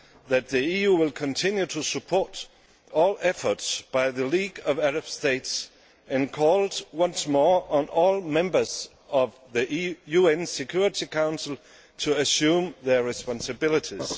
that the EU will continue to support all efforts by the League of Arab States and called once more on all members of the UN Security Council to assume their responsibilities.